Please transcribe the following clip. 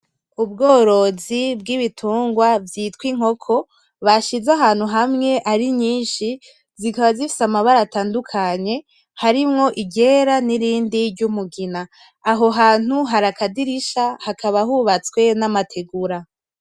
Ubworozi bw'ibitungwa vyitwa inkoko bashize ahantu hamwe ari nyinshi zikaba zifise amabara atandukanye harimwo iryera n'irindi ry'umugina, aho hantu hari akadirisha hakaba hubatswe n'amategura.